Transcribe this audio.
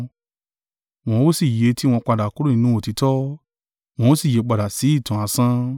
Wọ́n ó sì yí etí wọn padà kúrò nínú òtítọ́, wọn ó sì yípadà sí ìtàn asán.